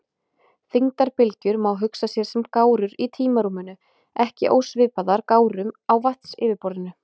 Þyngdarbylgjur má hugsa sér sem gárur í tímarúminu, ekki ósvipaðar gárum á vatnsyfirborði.